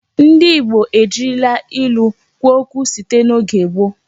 Ndị Igbo ejirila ilu kwuo okwu site n'oge gboo.